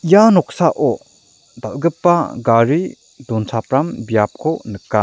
ia noksao dal·gipa gari donchapram biapko nika.